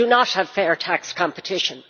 We do not have fair tax competition.